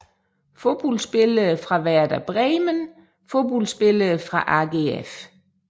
Fodboldspillere fra Werder Bremen Fodboldspillere fra AGF